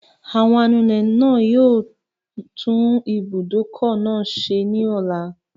Àwọn anulẹ̀ náà yóò tún ibùdókọ̀ náà ṣe ní ọ̀la